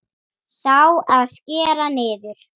Sá, að skera niður.